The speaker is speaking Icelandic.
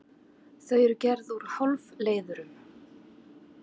Þau eru gerð úr hálfleiðurum.